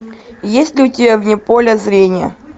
есть ли у тебя вне поля зрения